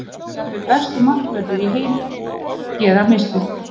Jafnvel bestu markverðir í heim gera mistök.